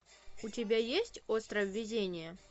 у тебя есть остров везения